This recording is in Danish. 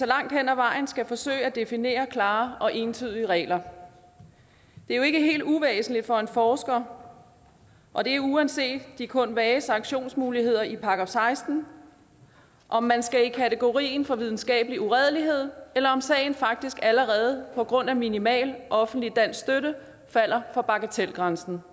langt hen ad vejen skal forsøge at definere klare og entydige regler det er jo ikke helt uvæsentligt for en forsker og det er uanset de kun vage sanktionsmuligheder i § seksten om man skal i kategorien for videnskabelig uredelighed eller om sagen faktisk allerede på grund af minimal offentlig dansk støtte falder for bagatelgrænsen